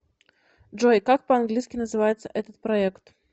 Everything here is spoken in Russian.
джой как по английски называется этот проект